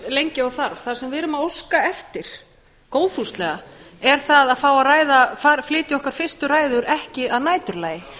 lengi og þarf það sem við erum að óska eftir góðfúslega er að fá að flytja okkar fyrstu ræður ekki að næturlagi